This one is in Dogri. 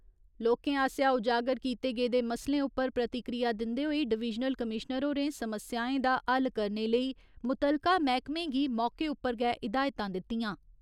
लोकें आसेआ उजागर कीते गेदे मसलें उप्पर प्रतिक्रिया दिन्दे होई डवीजनल कमीश्नर होरें समस्याएं दा हल करने लेई मुत्तलका मैह्कमें गी मौके उप्पर गै हिदायतां दित्तियां।